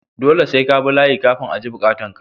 Dole sai kabi layi kafin a ji bukatan ka.